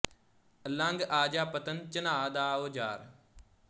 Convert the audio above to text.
ਲੰਘ ਆ ਜਾ ਪੱਤਣ ਝਨਾਅ ਦਾ ਓ ਯਾਰ